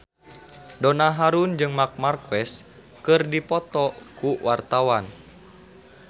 Donna Harun jeung Marc Marquez keur dipoto ku wartawan